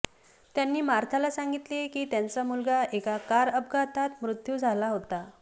त्यांनी मार्थाला सांगितले की त्यांचा मुलगा एका कार अपघातात मृत्यू झाला होता